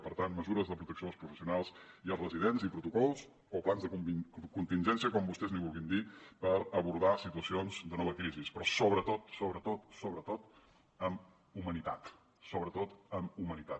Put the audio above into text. per tant mesures de protecció dels professionals i els residents i protocols o plans de contingència com vostès n’hi vulguin dir per abordar situacions de nova crisi però sobretot sobretot sobretot amb humanitat sobretot amb humanitat